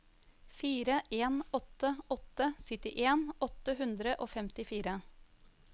fire en åtte åtte syttien åtte hundre og femtifire